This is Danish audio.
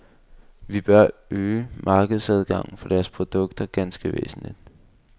Vi bør øge markedsadgangen for deres produkter ganske væsentligt.